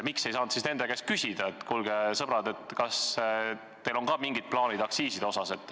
Miks te siis nende käest ei küsinud, et kuulge, sõbrad, kas teil on ka mingid plaanid aktsiiside muutmiseks?